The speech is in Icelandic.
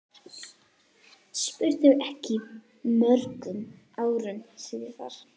spurði ég mörgum árum síðar.